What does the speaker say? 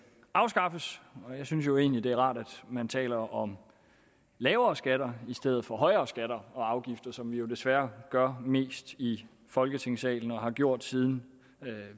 afskaffes jeg synes jo egentlig det er rart at man taler om lavere skatter i stedet for højere skatter og afgifter som vi jo desværre gør mest i folketingssalen og har gjort siden